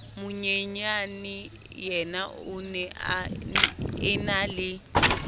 monyenyaneyena o ne a enale